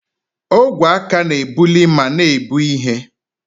Ogwe aka na-ebuli ma na-ebu ihe.